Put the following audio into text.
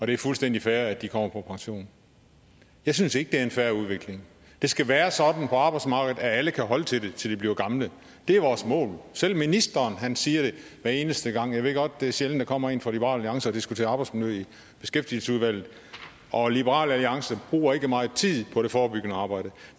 det er fuldstændig fair at de kommer på pension jeg synes ikke det er en fair udvikling det skal være sådan på arbejdsmarkedet at alle kan holde til det til de bliver gamle det er vores mål selv ministeren siger det hver eneste gang og jeg ved godt det er sjældent at der kommer en fra liberal alliance og diskuterer arbejdsmiljø i beskæftigelsesudvalget og liberal alliance bruger ikke meget tid på det forebyggende arbejde